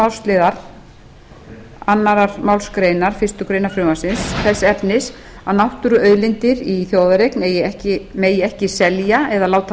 annarrar málsl annarri málsgrein fyrstu grein frumvarpsins þess efnis að náttúruauðlindir í þjóðareign megi ekki selja eða láta